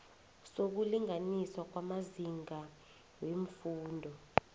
sokulinganiswa kwamazinga weemfundo